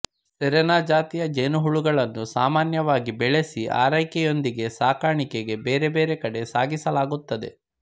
Serena ಜಾತಿಯ ಜೇನುಹುಳುಗಳನ್ನು ಸಾಮಾನ್ಯವಾಗಿ ಬೆಳೆಸಿ ಅರೈಕೆಯೊಂದಿಗೆ ಸಾಕಾಣಿಕೆಗೆ ಬೇರೆ ಬೇರೆ ಕಡೆ ಸಾಗಿಸಲಾಗುತ್ತದೆ